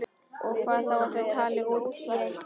Og hvað þá að þau tali út í eitt.